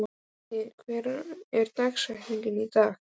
Matti, hver er dagsetningin í dag?